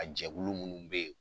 A jɛkulu minnu bɛ yen.